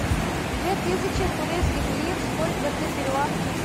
две тысячи турецких лир сколько это перуанских